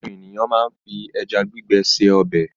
Àwọn ènìyàn máa ń fi ẹja gbígbẹ se ọbẹ̀.